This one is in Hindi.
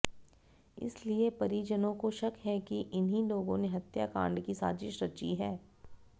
इसलिए परिजनों को शक है कि इन्हीं लोगों ने हत्याकांड की साजिश रची है